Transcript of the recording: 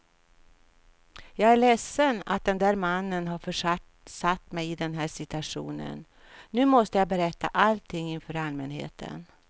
Jag är ledsen att den där mannen har försatt mig i den här situationen, nu måste jag berätta allting inför allmänheten.